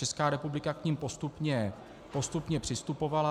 Česká republika k nim postupně přistupovala.